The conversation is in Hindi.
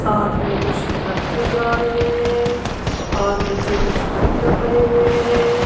साथ में कुछ ट्रक नजर आ रहे हैं और नीचे कुछ पत्थर पड़े हुए हैं।